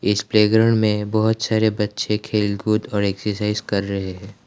इस प्लेग्राउंड में बहुत सारे बच्चे खेल कूद और एक्सरसाइज कर रहे है।